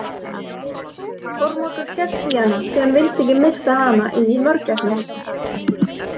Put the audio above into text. Kormákur hélt í hana því hann vildi ekki missa hana inn í mörgæsnahópinn.